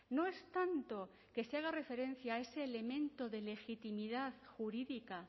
no es tanto que se haga referencia a ese elemento de legitimidad jurídica